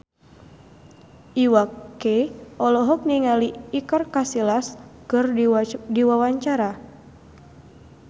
Iwa K olohok ningali Iker Casillas keur diwawancara